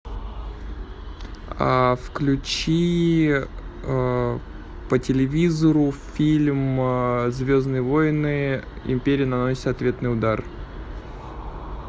включи по телевизору фильм звездные войны империя наносит ответный удар